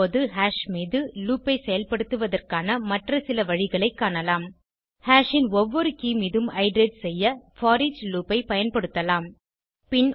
இப்போது ஹாஷ் மீது லூப் ஐ செயல்படுத்துவதற்கான மற்ற சில வழிகளை காணலாம் ஹாஷ் ன் ஒவ்வொரு கே மீதும் இட்டரேட் செய்ய போரிச் லூப் ஐ பயன்படுத்தலாம்